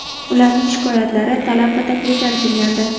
Ularning shikoyatlari, talab va takliflari tinglandi.